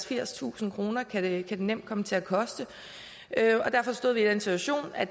firstusind kroner kan det nemt komme til at koste og derfor stod vi i den situation at